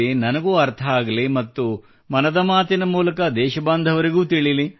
ನನಗೂ ಅರ್ಥವಾಗಲಿ ಮತ್ತು ಮನದ ಮಾತಿನ ಮೂಲಕ ದೇಶ ಬಾಂಧವರಿಗೂ ತಿಳಿಯಲಿ